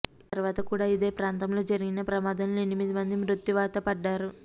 ఆ తరువాత కూడా ఇదే ప్రాంతంలో జరిగిన ప్రమాదంలో ఎనిమిది మంది మృత్యువాత పడ్డారు